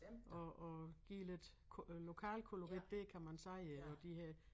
Og og give lidt øh lokalkolorit dér kan man sige ik og de her